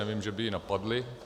Nevím, že by ji napadly.